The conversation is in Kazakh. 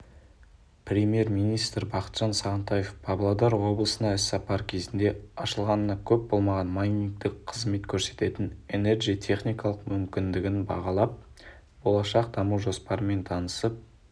премьер-министр бақытжан сағынтаев павлодар облысына іс-сапары кезінде ашылғанына көп болмаған майнингтік қызмет көрсететін энерджи техникалық мүмкіндігін бағалап болашақ даму жоспарымен танысып